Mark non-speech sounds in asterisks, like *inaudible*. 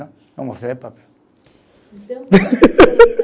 Eu mostrei para *laughs*